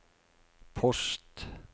post